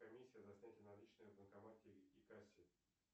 комиссия за снятие наличных в банкомате и кассе